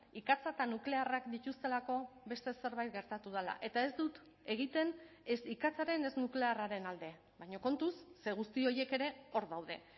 ikatza eta nuklearrak dituztelako beste zerbait gertatu dela eta ez dut egiten ez ikatzaren ez nuklearraren alde baina kontuz ze guzti horiek ere hor daude